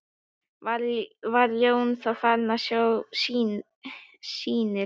Var Jón þá farinn að sjá sýnir.